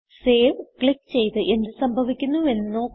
save click ചെയ്ത് എന്ത് സംഭവിക്കുന്നു എന്ന് നോക്കുക